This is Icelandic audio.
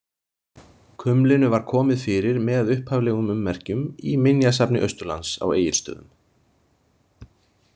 Kumlinu var komið fyrir með upphaflegum ummerkjum í Minjasafni Austurlands á Egilsstöðum.